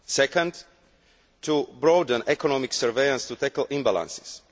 Second, to broaden economic surveillance to tackle imbalances